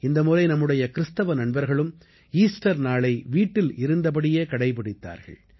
இந்த முறை நம்முடைய கிறிஸ்தவ நண்பர்களும் ஈஸ்டர் நாளை வீட்டில் இருந்தபடியே கடைப்பிடித்தார்கள்